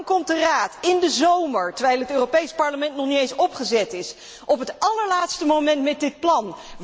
Waarom komt de Raad in de zomer, terwijl het Europees Parlement nog niet eens opgezet is, op het allerlaatste moment met dit plan?